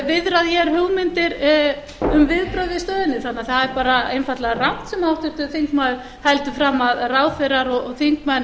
viðrað hér hugmyndir um viðbrögð við stöðunni þannig að það er bara einfaldlega rangt sem háttvirtur þingmaður heldur fram að ráðherrar og þingmenn